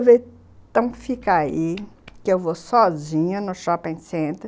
Eu falei, então fica aí, que eu vou sozinha no shopping center.